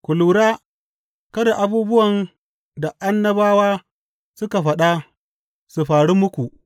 Ku lura kada abubuwan da annabawa suka faɗa su faru muku.